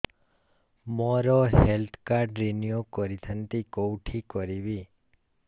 ମୋର health card renew କରିଥାନ୍ତି କୋଉଠି କରିବି